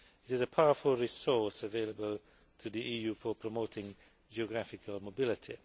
It is a powerful resource available to the EU for promoting geographical mobility.